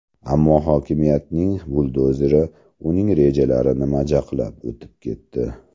Ammo hokimiyatning buldozeri uning rejalarini majaqlab o‘tib ketdi.